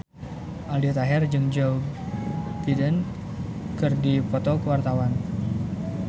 Aldi Taher jeung Joe Biden keur dipoto ku wartawan